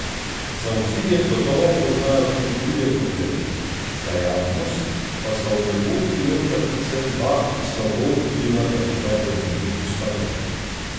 Za obzidjem gotovo poznajo tudi druge probleme, za javnost pa sta v nebo vpijoča predvsem dva, ki slabo vplivata na dobro ime ustanove.